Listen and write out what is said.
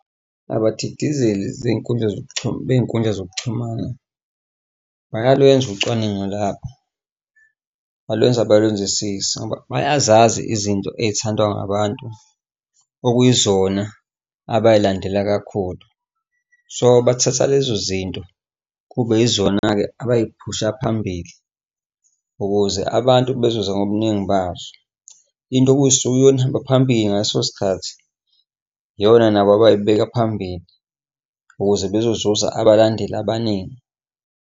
Abadidizeli zey'nkundla zokuxhumana bey'nkundla zokuxhumana bayalwenza ucwaningo labo balwenza balwenzisise, ngoba bayazazi izinto ey'thandwa ngabantu okuyizona abay'landela kakhulu. So bathatha lezo zinto, kube yizona-ke abay'phusha phambili ukuze abantu bezoza ngobuningi bazo. Into okusuke kuyiyona ehamba phambili ngaleso sikhathi iyona nabo abay'beka phambili ukuze bezozuza abalandeli abaningi.